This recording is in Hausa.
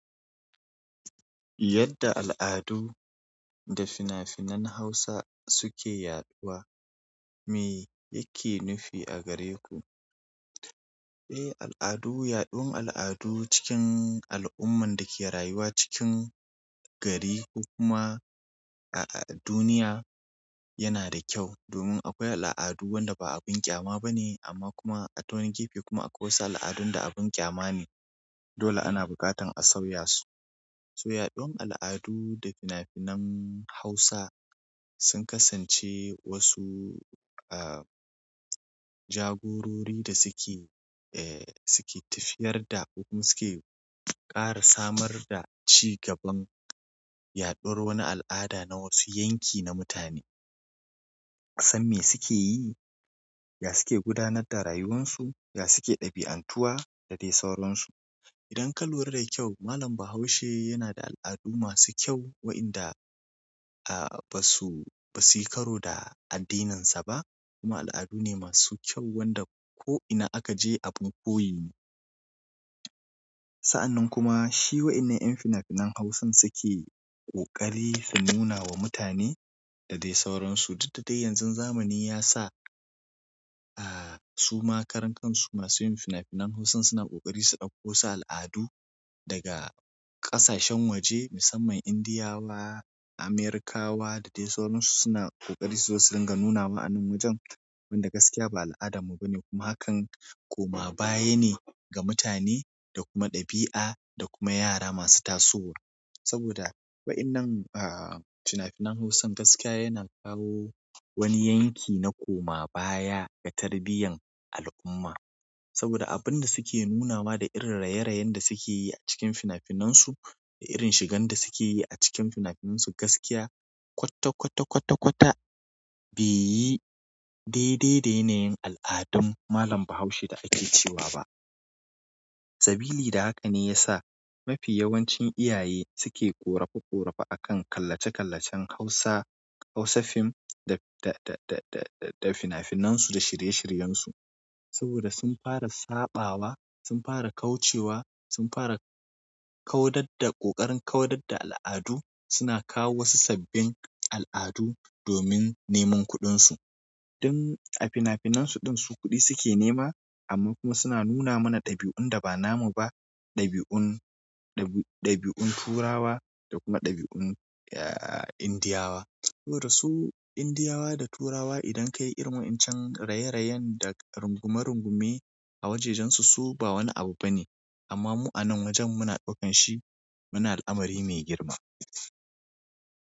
Yadda al'adu da fina-finan Hausa suke yaɗuwa, me yake nufi a gare ku? Eh, al'adu, yaɗuwan al'adu cikin al'umman da ke rayuwa cikin gari ko kuma a duniya yana da kyau. Domin akwai al'adu wanda ba abin ƙyama ba ne amma kuma a ta wani gefe kuma akwai wasu al'adun da abin ƙyama ne. Dole ana bukatan a sauya su. So yaɗuwan al'adu da fina-finan Hausa sun kasance wasu em jagorori da suke e suke tafiyar da ko kuma suke ƙara samar da cigaban yaɗuwar wani al'ada na wasu yanki na mutane. San me suke yi? Ya suke gudanar da rayuwar su? Ya suke ɗabi'antuwa? Da dai sauransu. Idan ka lura da kyau malam Bahaushe yana da al'adu masu kyau waɗanda basu, basu yi karo da addininsa ba kuma al'adune masu kyau wanda ko'ina aka je abun koyi ne. Sa'annan kuma shi waƴannan yan fina-finan Hausan suke ƙoƙari su nuna wa mutane da dai sauransu. Duk da dai yanzu zamani ya sa, ah, suma karan kansu masu yin fina-finan Hausan suna ƙoƙari su ɗauko wasu al'adu daga ƙasashen waje, musamman Indiyawa, Amerikawa da dai sauransu suna ƙoƙari su zo su dinga nuna wa anan wajen wanda gaskiya ba al'adarmu ba ne kuma hakan koma baya ne ga mutane da kuma ɗabi'a da kuma yara masu tasowa. Saboda waƴannan am fina-finan Hausan gaskiya yana kawo wani yanki na koma baya ga tarbiyyar al'umma. Saboda abin da suke nunawa da irin raye-rayen da suke yi a cikin fina-finansu da irin shigan da suke yi a cikin fina-finansu gaskiya kwata kwata kwata kwata bai yi dai dai da yanayin al'adun malam Bahaushe da ake cewa ba. Sabili da haka ne ya sa mafi yawancin iyaye suke ƙorafa ƙorafa a kan kallace-kallacen Hausa, Hausa fim da, da, da, da, da fina-finansu da shirye-shiryensu. Saboda sun fara saɓawa, sun fara kaucewa, sun fara kaudar da ƙoƙarin kaudar da al'adu suna kawo wasu sabbin al'adu domin neman kuɗinsu. Don a fina-finansu ɗin su kuɗi suke nema amma kuma suna nuna mana ɗabi'un da ba namu ba. Ɗabi'un, ɗabi'un turawa da kuma ɗabi'un, ah, Indiyawa. Saboda su Indiyawa da turawa idan ka yi irin wancan raye-rayen da rungume-rungume a wajajensu su ba wani abu ba ne. Amma mu anan wajen muna ɗaukan shi muna al'amari mai girma.